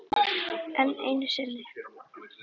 Enn einu sinni.